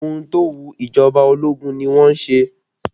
Ohun tó wu ìjọba ológun ni wọn a ṣe